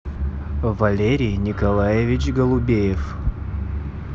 валерий николаевич голубеев